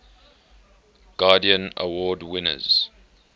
guardian award winners